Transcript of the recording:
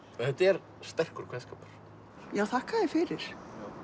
þetta er sterkur kveðskapur já þakka þér fyrir